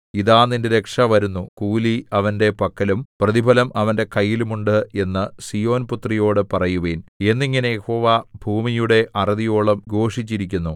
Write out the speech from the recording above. ഇതാ നിന്റെ രക്ഷ വരുന്നു കൂലി അവന്റെ പക്കലും പ്രതിഫലം അവന്റെ കൈയിലും ഉണ്ട് എന്നു സീയോൻ പുത്രിയോട് പറയുവിൻ എന്നിങ്ങനെ യഹോവ ഭൂമിയുടെ അറുതിയോളം ഘോഷിപ്പിച്ചിരിക്കുന്നു